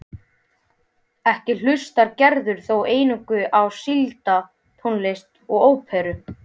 Ekki hlustar Gerður þó eingöngu á sígilda tónlist og óperur.